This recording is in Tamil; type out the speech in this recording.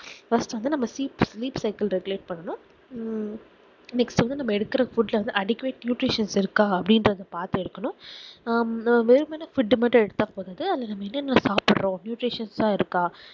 first வந்து seat meat cycle reglate பண்ணனும் உம் next வந்து நம்ம எடுக்குற food ல வந்து adequate nutrion இருக்கா அப்புடிங்குரத பாத்துஎடுக்கணும் ஆஹ் வேணு மான food மட்டும் எடுத்தா போதாது அல்லது நம்ம என்னென சாப்பிடுறோம் nutrion இருக்கா